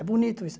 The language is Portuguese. É bonito isso.